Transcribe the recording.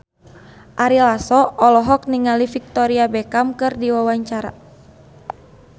Ari Lasso olohok ningali Victoria Beckham keur diwawancara